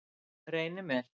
Reynimel